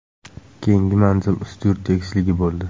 Keyingi manzil Ustyurt tekisligi bo‘ldi.